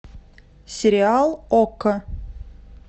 сериал окко